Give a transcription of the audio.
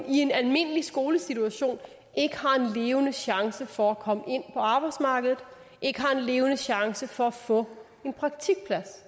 i en almindelig skolesituation ikke har en levende chance for at komme ind på arbejdsmarkedet ikke har en levende chance for at få en praktikplads